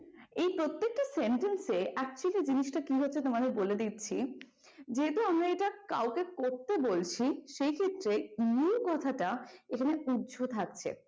এই প্রত্যেকটা sentence এ actually জিনিসটা কি হচ্ছে তোমাদের বলে দিচ্ছি যেহেতু আমরা এটা আমরা কাউকে করতে বলছি সেই ক্ষেত্রে মূল কথাটা এখানে উহ্য থাকছে ।